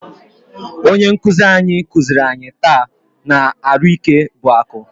Onye nkụzi anyị kụziri anyị taa na " Arụike bụ akụ"